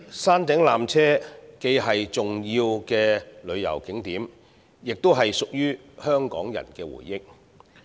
山頂纜車既是重要的旅遊景點，亦是香港人的回憶。